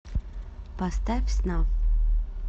поставь снафф